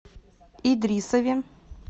идрисове